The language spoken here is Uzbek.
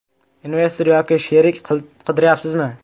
Investor yoki sherik qidiryapsizmi?